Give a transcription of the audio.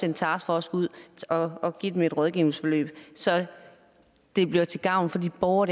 en taskforce ud og give dem et rådgivningsforløb så det bliver til gavn for de borgere